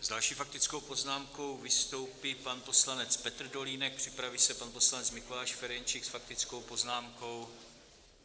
S další faktickou poznámkou vystoupí pan poslanec Petr Dolínek, připraví se pan poslanec Mikuláš Ferjenčík s faktickou poznámkou.